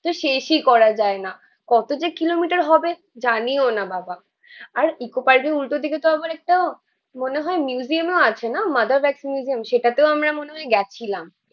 তো শেষই করা যায়না, কত যে কিলোমিটার হবে জানিও না বাবাঃ আর ইকো পার্কের উল্টোদিকে তো আবার একটা মনে হয় মিউজিয়ামও আছে না, মাদার্স ওয়াক্স মিউজিয়াম। সেটাতেও আমরা মনে হয় গেছিলাম।